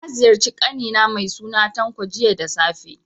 Na ziyarci ƙani na mai suna Tanko, jiya da safe.